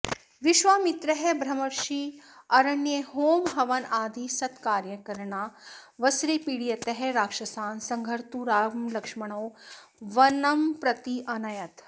विश्वामित्रः ब्रह्मर्षिः अरण्ये होमहवनादिसत्कार्यकरणावसरे पीडयतः राक्षसान् संहर्तुं रामलक्ष्मणौ वनं प्रति अनयत्